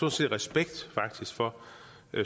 respekt for